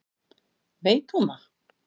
Veit hún það?